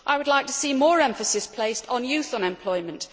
I would like to see more emphasis placed on youth unemployment.